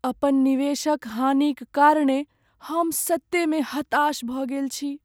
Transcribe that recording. अपन निवेशक हानिक कारणेँ हम सत्ते में हताश भऽ गेल छी।